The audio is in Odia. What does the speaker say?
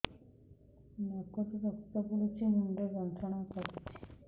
ନାକ ରୁ ରକ୍ତ ପଡ଼ୁଛି ମୁଣ୍ଡ ଯନ୍ତ୍ରଣା କରୁଛି